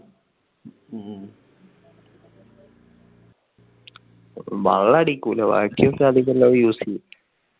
വെള്ളം അടിക്കില്ല. ബാക്കി ഒക്കെ അധികം എല്ലാം use ചെയ്യും.